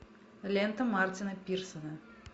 лента мартина пирсона